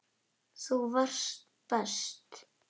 Þú varst best.